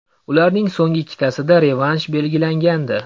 Ularning so‘nggi ikkitasida revansh belgilangandi.